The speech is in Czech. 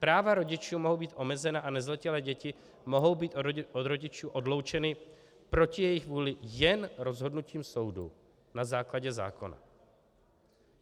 Práva rodičů mohou být omezena a nezletilé děti mohou být od rodičů odloučeny proti jejich vůli jen rozhodnutím soudu na základě zákona."